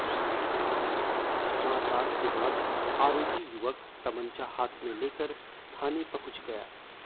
वारदात के बाद आरोपी युवक तमंचा हाथ में लेकर थाने पहुंच गया